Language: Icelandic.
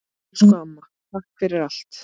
Elsku amma, takk fyrir allt!